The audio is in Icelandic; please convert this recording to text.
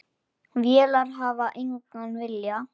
Vélar hafa engan vilja.